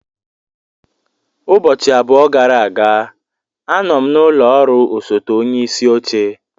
Ụbọchị abụọ gara aga, anọ m n'ụlọ ọrụ osote onye isi oche.